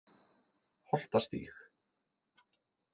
Holtastíg